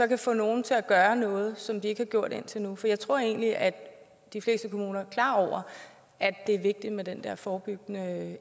kan få nogle til at gøre noget som de ikke har gjort indtil nu for jeg tror egentlig at de fleste kommuner er klar over at det er vigtigt med den der forebyggende